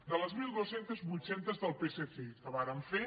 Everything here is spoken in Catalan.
de les mil dos cents vuit cents del psc que vàrem fer